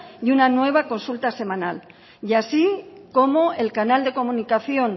y una nueva consulta semanal así como el canal de comunicación